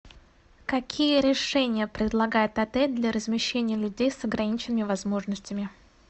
какие решения предлагает отель для размещения людей с ограниченными возможностями